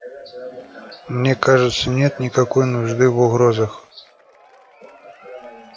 мне кажется нет никакой нужды в угрозах